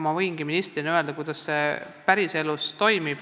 Ma võingi ministrina öelda, kuidas see päriselus toimub.